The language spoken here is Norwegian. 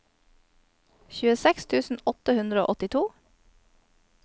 tjueseks tusen åtte hundre og åttito